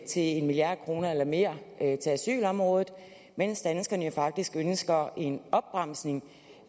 en milliard kroner eller mere til asylområdet mens danskerne jo faktisk ønsker en opbremsning